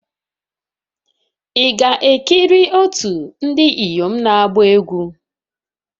Ị ga-ekiri otu ndị inyom na-agba egwu?